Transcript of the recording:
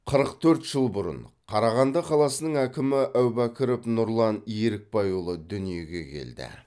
қырық төрт жыл бұрын қарағанды қаласының әкімі әубәкіров нұрлан ерікбайұлы дүниеге келді